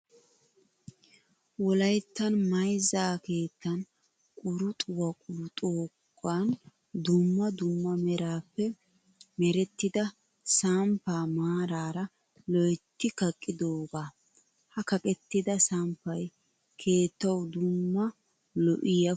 Wolayittan mayizza keettan quruxuwaa quruxidoogandumma dumma meraape merettida samppaa maaraara loyitti kaqqidoogaa. Ha kaqettida samppayi keetawu dumma lo'iyaa puulaa immis.